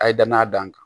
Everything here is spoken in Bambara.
A ye danaya d'an kan